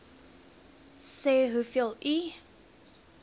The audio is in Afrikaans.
sê hoeveel u